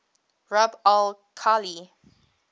rub al khali